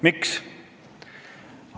Miks?